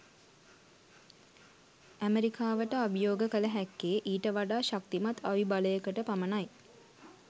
ඇමරිකාවට අභියෝග කල හැක්කේ ඊට වඩා ශක්තිමත් අවිබලයකට පමණයි